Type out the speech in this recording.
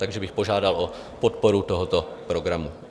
Takže bych požádal o podporu tohoto programu.